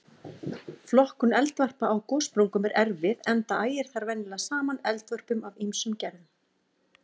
Flokkun eldvarpa á gossprungum er erfið enda ægir þar venjulega saman eldvörpum af ýmsum gerðum.